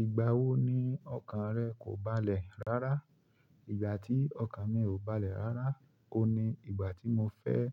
Ìgbà wo ni ọkàn rẹ kò balẹ̀ rárá? Ìgbà tí ọkàn mi ò balẹ̀ rárá, òun ní ìgbà tí mo fẹ́